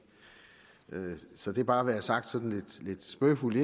så det bare indledningsvis være sagt sådan lidt spøgefuldt